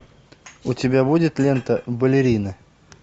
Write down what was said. у тебя будет лента балерины